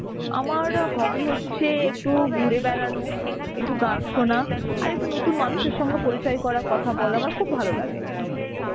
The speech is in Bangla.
আমার hobby হচ্ছে, একটু ঘুরে বেড়ানো, একটু গান শোনা, আর একটু নতুন মানুষের সঙ্গে পরিচয় করা কথা বলা আমার খুব ভালো লাগে.